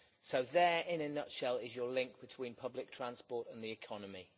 So there, in a nutshell, is your link between public transport and the economy.